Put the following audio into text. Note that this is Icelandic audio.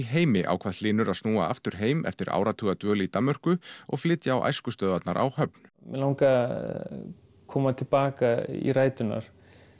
heimi ákvað Hlynur að snúa aftur heim eftir áratuga dvöl í Danmörku og flytja á æskustöðvarnar á Höfn mig langaði að koma til baka í ræturnar